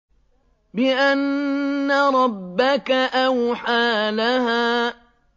بِأَنَّ رَبَّكَ أَوْحَىٰ لَهَا